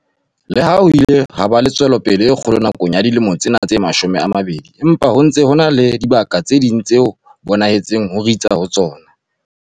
Le ha ho ile ha ba le tswelopele e kgolo nakong ya dilemo tsena tse mashome a mabedi, empa ho ntse ho na le dibaka tse ding tseo ho bonahetseng ho ritsa ho tsona.